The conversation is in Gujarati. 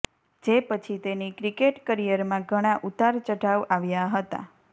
જે પછી તેની ક્રિકેટ કરિયરમાં ઘણા ઉતાર ચઢાવ આવ્યા હતા